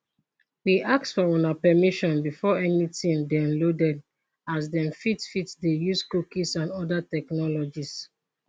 we ask for una permission before anytin dey loaded as dem fit fit dey use cookies and oda technologies